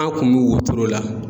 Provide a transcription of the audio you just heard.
An kun bɛ wotoro la.